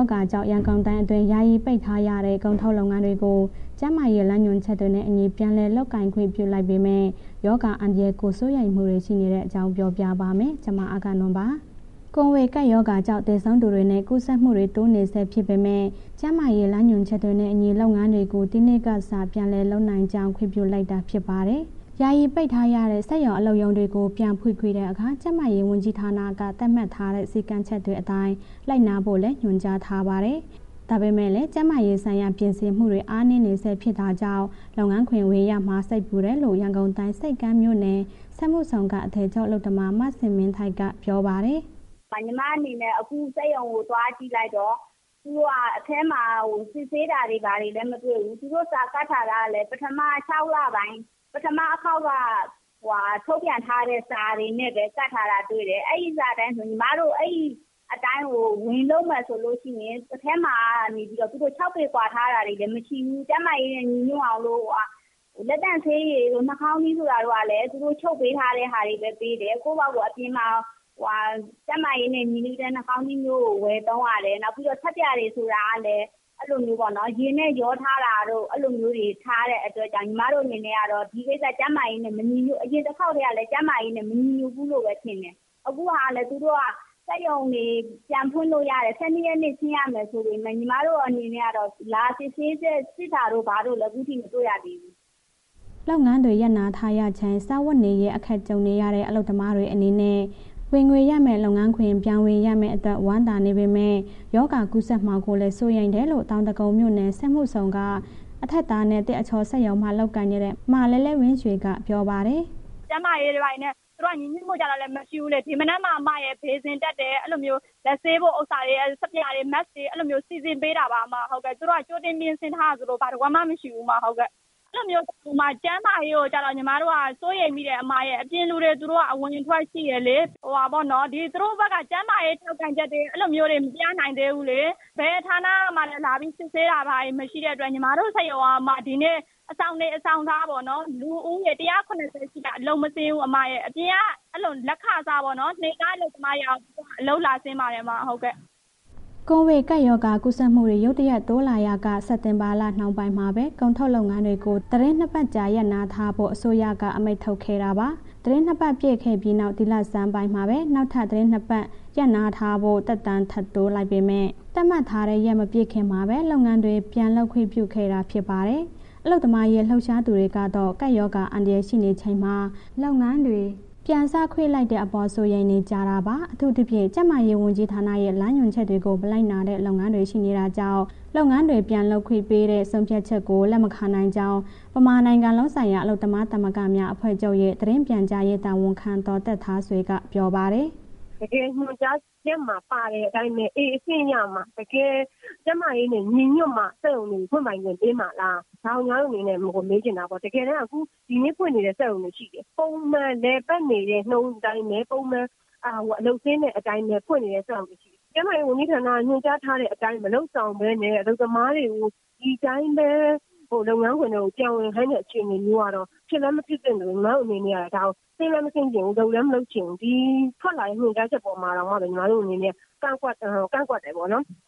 ောဂါကြောင့် ရန်ကုန်တိုင်းအတွင်း ယာယီပိတ်ထားရတဲ့ ကုန်ထုတ်လုပ်ငန်းတွေကို ကျန်းမာရေးလမ်းညွှန်ချက်တွေနဲ့အညီ ပြန်လည် လုပ်ကိုင်ခွင့် ပြုလိုက်ပေမဲ့ ရောဂါအန္တရာယ်ကို စိုးရိမ်မှုတွေ ရှိနေတဲ့အကြောင်းကို ဗွီအိုအေမြန်မာပိုင်းသတင်းထောက် မအဂ္ဂနွန်က ပြောပြပါမယ်။ ကိုဗစ်ကပ်ရောဂါကြောင့် သေဆုံးမှုတွေနဲ့ ကူးစက်မှုတွေ တိုးနေဆဲ ဖြစ်ပေမဲ့ ကျန်းမာရေး လမ်းညွှန်ချက်တွေနဲ့အညီ လုပ်ငန်းတွေကို ဒီကနေ့ကစ ပြန်လုပ်နိုင်ကြောင်း ခွင့်ပြုလိုက်တာ ဖြစ်ပါတယ်။ ယာယီ ပိတ်ထားရတဲ့ စက်ရုံ၊ အလုပ်ရုံတွေကို ပြန်ဖွင့်တဲ့အခါ ကျန်းမာရေး ဝန်ကြီးဌာနက သတ်မှတ်ထားတဲ့ စည်းကမ်းချက်တွေအတိုင်း လိုက်နာဖို့လည်း ညွှန်ကြားထားပါတယ်။ ဒါပေမဲ့လည်း ကျန်းမာရေးဆိုင်ရာ ပြင်ဆင်မှုတွေ အားနည်းနေဆဲ ဖြစ်တာကြောင့် လုပ်ငန်းခွင်ပြန်ဝင်ရမှာ စိတ်ပူတယ်လို့ ရန်ကုန်တိုင်း ဆိပ်ကမ်းမြို့နယ် စက်မှုဇုန်က အထည်ချုပ်အလုပ်သမ မဇင်မင်းထိုက်က ပြောပါတယ်။ “ညီမအနေနဲ့ အခုစက်ရုံကို သွားကြည့်လိုက်တော့ သူတို့က အထဲမှာ စစ်ဆေးတာ၊ ဘာတွေလည်း မတွေ့ဘူး၊ သူတို့ စာကပ်ထားတာလည်း ပထမ ၆ လပိုင်း ပထမအခေါက်ကဟိုဟာထုတ်ပြန်ထားတဲ့ စာတွေနဲ့ပဲ ကပ်ထားတာတွေ့တယ်၊ အဲ့ဒီစာအတိုင်း ညီမတို့အဲ့ဒီအတိုင်း ဝင်လုပ်မယ်ဆိုလို့ရှိရင် အထဲမှာနေပြီးတော့ သူတို့ ၆ ပေကွာထားတာလည်း မရှိဘူး၊ ကျန်းမာရေးနဲ့ ညီညွှတ်အောင်လို့ လက်သန့်ဆေးရည်တို့၊ နှာခေါင်းစည်းတို့လည်း သူတို့ချုပ်ပေးထားတဲ့ဟာတွေပဲ ပေးတယ်။ ကိုယ့်ဘာသာကိုယ် အပြင်မှာ ကျန်းမာရေးနဲ့ ညီညွှတ်တဲ့ နှာခေါင်းစည်းမျိုးကို ဝယ်သုံးရတယ်။ နောက်ပြီးတော့ ဆပ်ပြာတွေဆိုတာကလည်း အဲ့လိုမျိုးပေါ့နော် ရေနဲ့ရောထားတို့ အဲ့လိုမျိုးတွေ ထားတဲ့အတွက်ကြောင့် ညီမတို့အနေနဲ့ကတော့ ဒီကိစ္စ ကျန်းမာရေးမညီညွှတ် အရင်တစ်ခေါက်ကလည်း ကျန်းမာရေးနဲ့ မညီညွှတ်ဘူးလို့ပဲ မြင်တယ်။ အခုဟာလည်း စက်ရုံတွေ ပြန်ဖွင့်လို့ရတယ်၊ ၁၂ ရက်နေ့ ဆင်းရမယ်ဆိုပေးမယ့် ညီမတို့အနေနဲ့ကတော့ လာစစ်ဆေးချက် စစ်တာတို့ ဘာတို့လည်း အခုထိ မတွေ့ရသေးဘူး။” လုပ်ငန်းတွေ ရပ်နားထားရချိန်မှာ စားဝတ်နေရေး အခက်ကြုံနေရတဲ့ အလုပ်သမားတွေ အနေနဲ့ ဝင်ငွေရမယ့် လုပ်ငန်းခွင် ပြန်ဝင်ရမယ့်အတွက် ဝမ်းသာနေပေမဲ့ ရောဂါကူးစက်မှာကိုလည်း စိုးရိမ်တယ်လို့ တောင်ဒဂုံမြို့နယ် စက်မှုဇုန်က အထပ်သားနဲ့ သစ်အချောစက်ရုံမှာ လုပ်ကိုင်နေတဲ့ မလဲ့လဲ့ဝင်းရွှေက ပြောပါတယ်။ “ကျန်းမာရေးတွေ၊ ဘာတွေနဲ့ သူတို့က ညီညွှတ်မှုကျတော့လည်း မရှိဘူးလေ၊ ဒီမနက်မှ ဘေးစင်တပ်တယ် အဲ့လိုမျိုးလက်ဆေးဖို့ ဥစ္စာတွေ ဆပ်ပြာတွေ Mask တွေ အဲ့လိုမျိုးစီစဉ်ပေးတာပါ၊ သူတို့က ကြိုတင်ပြင်ဆင်ထားတယ်ဆိုတာ ဘာတစ်ကွက်မှ မရှိဘူး။ အဲ့လိုမျိုး ကျန်းမာရေးကိုကျတော့ ညီမတို့ စိုးရိမ်မိတယ်၊ အပြင်လူတွေ သူတို့က အဝင်အထွက်ရှိတယ်လေး၊ ဟိုဟာပေါ့နော် သူတို့ဘက်က ကျန်းမာရေးထောက်ခံချက်တွေ အဲ့လိုမျိုးတွေ မပြနိုင်သေးဘူးလေ။ ဘယ်ဌာနကမှ လာပြီးစစ်ဆေးတာ ဘာတွေမရှိတဲ့အတွက် ညီမတို့ စက်ရုံက ဒီနေ့အဆောင်နေအဆောင်စားပေါ့နော်။ လူဦးရေ ၁၇၀ ရှိတယ်။ အလုပ်မဆင်းဘူး၊ အပြင်က လက်ခစား နေ့ခအလုပ်သမားတွေက အလုပ်လာဆင်းပါတယ်။” ကိုဗစ်ကပ်ရောဂါ ကူးစက်မှုတွေ ရုတ်တရက် တိုးလာရာက စက်တင်ဘာလ နှောင်းပိုင်းမှာပဲ ကုန်ထုတ်လုပ်ငန်းတွေကို သီတင်း ၂ ပတ်ကြာ ရပ်နားထားဖို့ အစိုးရက အမိန့်ထုတ်ခဲ့တာပါ။ သီတင်း ၂ ပတ်ပြည့်ခဲ့ပြီးနောက် ဒီလဆန်းပိုင်းမှာပဲ နောက်ထပ် သီတင်း ၂ ပတ် ရပ်နားထားဖို့ သက်တမ်းထပ်တိုးထားပေမဲ့ သတ်မှတ်ထားတဲ့ရက် မပြည့်ခင်မှာပဲ လုပ်ငန်းတွေ ပြန်လုပ်ခွင့်ပြုခဲ့တာ ဖြစ်ပါတယ်။ အလုပ်သမားရေး လှုပ်ရှားသူတွေကတော့ ကပ်ရောဂါ အန္တရာယ် ရှိနေချိန်မှာ လုပ်ငန်းတွေ ပြန်စခွင့်ပြုလိုက်တဲ့အပေါ် စိုးရိမ်နေကြတာပါ။ အထူးသဖြင့် ကျန်းမာရေးဝန်ကြီးဌာနရဲ့ လမ်းညွှန်ချက်တွေကို မလိုက်နာတဲ့ လုပ်ငန်းတွေရှိနေတာကြောင့် လုပ်ငန်းတွေ ပြန်လုပ်ခွင့်ပေးတဲ့ ဆုံးဖြတ်ချက်ကို လက်မခံနိုင်ကြောင်း ဗမာနိုင်ငံလုံးဆိုင်ရာ အလုပ်သမားသမဂ္ဂများအဖွဲ့ချုပ်ရဲ့ သတင်းပြန်ကြားရေးတာဝန်ခံ ဒေါ်သက်ထားဆွေက ပြောပါတယ်။ “တကယ် ညွှန်ကြားချက်မှာ ပါတဲ့အတိုင်းလဲ A အဆင့်ရမှ တကယ်ကျန်းမာရေးနဲ့ ညီညွှတ်မှ စက်ရုံတွေ ဖွင့်ပိုင်ခွင့်ပေးမှာလား၊ ဒါကိုညီမတို့အနေနဲ့ မေးချင်တယ်၊ တကယ်တန်း ဒီနေ့ဖွင့်နေတဲ့ စက်ရုံတွေရှိတယ်။ ပုံမှန်လည်ပတ်နေတဲ့နှုန်းအတိုင်းပဲ ပုံမှန်အလုပ်ဆင်းတဲ့အတိုင်းပဲ။ ဖွင့်နေတဲ့ စက်ရုံတွေရှိတယ်၊ ကျန်းမာရေးဝန်ကြီးဌာနက ညွှန်ကြားထားတဲ့အတိုင်း မလုပ်ဆောင်ပဲနဲ့ အလုပ်သမားတွေကို ဒီအတိုင်းပဲ လုပ်ငန်းခွင်ထဲကို ပြန်ဝင်ခိုင်းတဲ့အခြေအနေမျိုးကတော့ ဖြစ်လည်းမဖြစ်သင့်သလို ညီမအနေနဲ့က ဒါကို ဆင့်လည်း မဆင်းချင်ဘူး၊ လုပ်လည်း မလုပ်ချင်ဘူး၊ ဒီထွက်လာတဲ့ ညွှန်ကြားချက်အပေါ်တောင်မှ ညီမတို့အနေနဲ့ ကန့်ကွက်တယ်ပေါ့နော်။”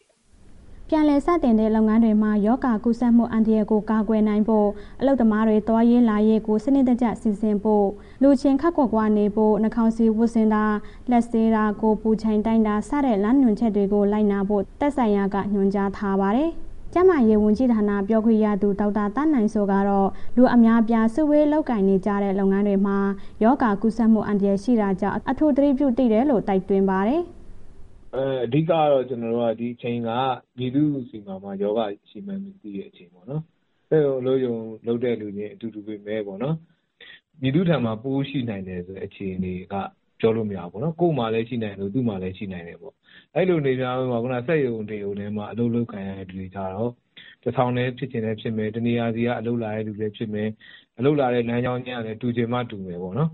ပြန်လည်စတင်တဲ့ လုပ်ငန်းတွေမှာ ရောဂါကူးစက်မှု အန္တရာယ်ကို ကာကွယ်နိုင်ဖို့ အလုပ်သမားတွေ သွားရေးလာရေးကို စနစ်တကျ စီစဉ်ဖို့ လူချင်းခပ်ခွာခွာနေဖို့ နှာခေါင်းစည်းဝတ်ဆင်တာ၊ လက်ဆေးတာ၊ ကိုယ်ပူချိန်တိုင်းတာစတဲ့ လမ်းညွှန်ချက်တွေကို လိုက်နာဖို့ သက်ဆိုင်ရာက ညွှန်ကြားထားပါတယ်။ ကျန်းမာရေးဝန်ကြီးဌာန ပြောခွင့်ရသူ ဒေါက်တာသန်းနိုင်စိုးကတော့ လူအများအပြား စုဝေးလုပ်ကိုင်ကြတဲ့ လုပ်ငန်းတွေမှာ ရောဂါကူးစက်မှုအန္တရာယ် ရှိတာကြောင့် အထူးသတိထားသင့်တယ်လို့ တိုက်တွန်းပါတယ်။ “အဓိကတော့ ကျနော်တို့က ဒီအချိန်က မည်သူ့ဆီမှာ ရောဂါရှိမှန်းမသိတဲ့ အချိန်ပေါ့နော်၊ စက်ရုံ၊ အလုပ်ရုံလုပ်တဲ့ လူနဲ့ အတူတူပေမဲ့ပေါ့နော်... မည်သူ့ထံမှာ ပိုးရှိနိုင်တယ်ဆိုတဲ့အခြေအနေက ပြောလို့မရဘူးပေ့ါနော်၊ ကိုယ့်မှာလည်း ရှိနိုင်တယ်၊ သူ့မှာလည်း ရှိနိုင်တယ်ပေါ့၊ အဲ့လိုအများထဲမှာ ခုဏ စက်ရုံတစ်ရုံထဲမှာ အလုပ်လုပ်ကိုင်နေတဲ့ လူတွေကျတော့ ၁,၀၀၀ လည်း ဖြစ်ချင်ဖြစ်မယ်၊ တစ်နေရာဆီက အလုပ်လာလုပ်တဲ့လူလည်းဖြစ်မယ်။ အလုပ်လာတဲ့ လမ်းကြောင်းချင်းကလည်း တူချင်မှတူမယ်ပေါ့နော်၊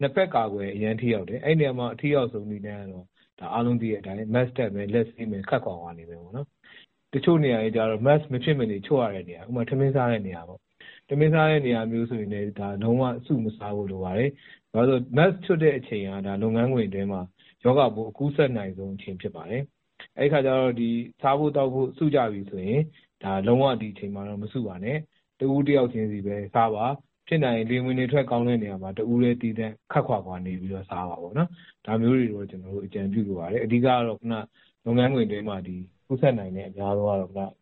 နှစ်ဘက်ကာကွယ်ရင် အရမ်းထိရောက်တယ်၊ အဲ့နေရာမှာ အထိရောက်ဆုံးနည်းလမ်းကတော့ ဒါအားလုံးသိတဲ့အတိုင်းပဲ Mask တပ်မယ်၊ လက်ဆေးမယ်၊ ခပ်ခွာခွာနေမယ်ပေါ့နော်၊ တချို့နေရာတွေကျ Mask မဖြစ်မနေချွတ်ရတဲ့နေရာ ဥပမာထမင်းစားတဲ့နေရာ လုံးဝစုမစားဖို့လိုပါတယ်၊ Mask ချွတ်တဲ့အချိန်က လုပ်ငန်းခွင်အတွင်းမှာ ရောဂါပိုးအကူးစက်နိုင်ဆုံးအချိန် ဖြစ်ပါတယ်။ အဲ့ဒီအခါကျတော့ ဒီစားဖို့ သောက်ဖို့ စုကြပြီးဆိုရင် ဒါလုံးဝ ဒီအချိန်မှာ မစုပါနဲ့ တစ်ဦးတစ်ယောက်ချင်ဆီပဲ စားပါ၊ ဖြစ်နိုင်ရင် လေဝင်လေထွက် ကောင်းတဲ့နေရာမှာ တစ်ဦးတည်း သီးသန့် ခပ်ခွာခွာနေပြီးတော့ စားပေါ့၊ ဒါမျိုးကို ကျနော်တို့ အကြံပြုလိုပါတယ်၊ အဓိကတော့ ခုဏ လုပ်ငန်းခွင်အတွင်းမှာ ကူးစက်နိုင်တဲ့ အများဆုံးကတော့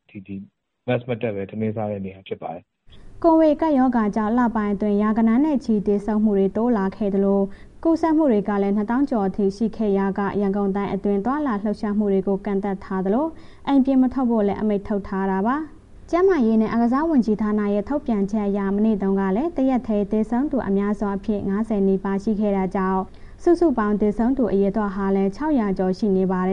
Mask မတပ်ဘဲ ထမင်းစားတဲ့နေရာပဲ ဖြစ်ပါတယ်။” ကိုဗစ်ကပ်ရောဂါကြောင့် လပိုင်းအတွင်း ရာဂဏန်းနဲ့ချီ သေဆုံးမှုတွေ တိုးလာခဲ့သလို ကူးစက်မှုတွေလည်း ၂၀,၀၀၀ ကျော်အထိ ရှိခဲ့ရာက ရန်ကုန်တိုင်းအတွင်း သွားလာလှုပ်ရှားမှုတွေကို ကန့်သတ်ထားသလို အိမ်ပြင်မထွက်ဖို့လည်း အမိန့်ထုတ်ထားတာပါ။ ကျန်းမာရေးနဲ့ အားကစားဝန်ကြီးဌာနရဲ့ ထုတ်ပြန်ချက်အရ မနေ့တုန်းကလည်း တရက်တည်း သေဆုံးသူ အများဆုံးအဖြစ် ၅၀ နီးပါး ရှိခဲ့တာကြောင့် စုစုပေါင်း သေဆုံးသူ အရေအတွက်ဟာလည်း ၆၀၀ ကျော် ရှိနေပါတယ်။